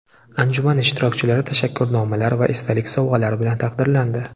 Anjuman ishtirokchilari tashakkurnomalar va esdalik sovg‘alari bilan taqdirlandi.